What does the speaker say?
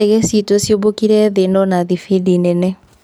Ndege citũ cĩmbũkĩire thĩ no na thibindi nene".